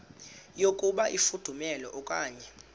yokuba ifudumele okanye